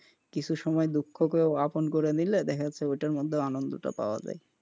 কিছু সময় দুঃখকেও আপন করে নিল দেখা যায় ওই টার মধ্যে আনন্দটাও পাওয়া যায়,